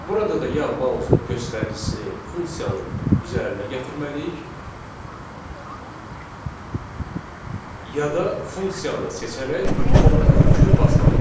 Burada da ya mausun göstəricisini funksiyanın üzərinə gətirməliyik, ya da funksiyanı seçərək Ctrl+Q basmalıyıq.